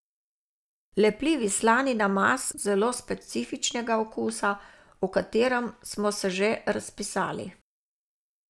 Lepljivi slani namaz zelo je zelo specifičnega okusa, o katerem smo se že razpisali.